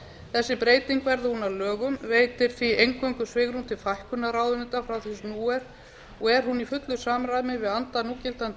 þessi breyting verði hún að lögum veitir því eingöngu svigrúm til fækkunar ráðuneyta frá því sem nú er og er hún í fullu samræmi við anda núgildandi